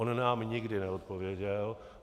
On nám nikdy neodpověděl.